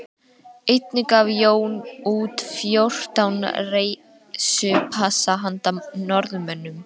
Einnig gaf Jón út fjórtán reisupassa handa Norðmönnum